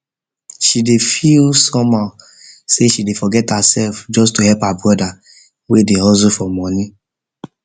she dey feel somehow say she dey forget herself just to help her brother wey dey hustle for money